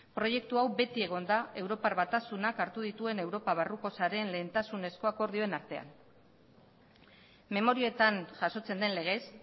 proiektu hau beti egon da europar batasunak hartu dituen europa barruko sareen lehentasunezko akordioen artean memorietan jasotzen den legez